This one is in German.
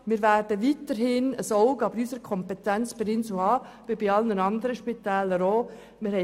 Wir werden weiterhin ein Auge, gemäss unserer Kompetenz, auf der Insel Gruppe haben, wie bei allen anderen Spitälern auch.